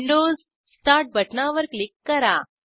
Windows start बटणावर click करा